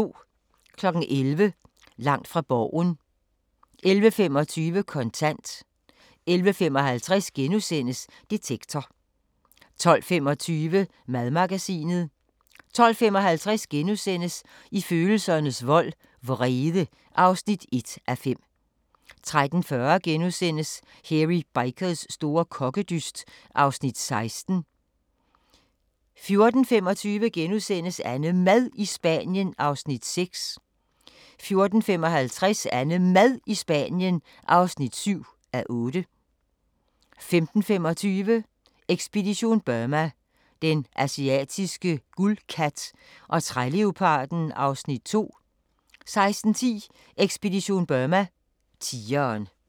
11:00: Langt fra Borgen 11:25: Kontant 11:55: Detektor * 12:25: Madmagasinet 12:55: I følelsernes vold –vrede (1:5)* 13:40: Hairy Bikers store kokkedyst (Afs. 16)* 14:25: AnneMad i Spanien (6:8)* 14:55: AnneMad i Spanien (7:8) 15:25: Ekspedition Burma: Den asiatiske guldkat og træleoparden (Afs. 2) 16:10: Ekspedition Burma: Tigeren